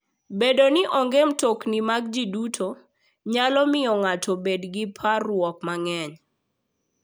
Bedo ni onge mtokni mag ji duto, nyalo miyo ng'ato obed gi parruok mang'eny.